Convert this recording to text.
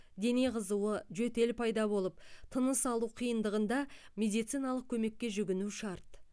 дене қызуы жөтел пайда болып тыныс алу қиындағанда медициналық көмекке жүгіну шарт